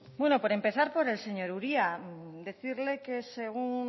bueno por empezar por el señor uria decirle que según